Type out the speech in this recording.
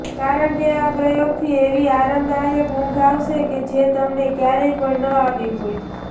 કારણકે આ પ્રયોગથી એવી આરામદાયક ઊંઘ આવશે જે તમને ક્યારેય પણ ન આવી હોય